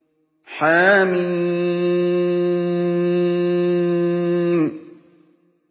حم